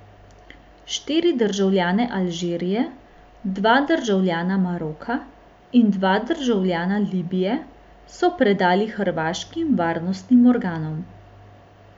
Štiri državljane Alžirije, dva državljana Maroka in dva državljana Libije so predali hrvaškim varnostnim organom.